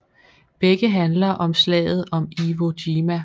Begge handler om Slaget om Iwo Jima